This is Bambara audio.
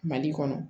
Mali kɔnɔ